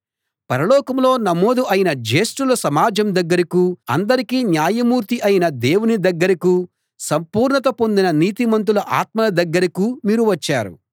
పరలోకంలో నమోదు అయిన జ్యేష్టుల సమాజం దగ్గరకూ అందరికీ న్యాయమూర్తి అయిన దేవుని దగ్గరకూ సంపూర్ణత పొందిన నీతిమంతుల ఆత్మల దగ్గరకూ మీరు వచ్చారు